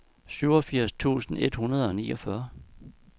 syvogfirs tusind et hundrede og niogfyrre